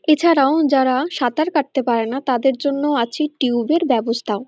এছাড়াও যারা সাঁতার কাটতে পারেনা তাদের জন্য আছে টিউব -এর ব্যবস্থা।